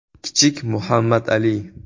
Kichik Muhammad Ali.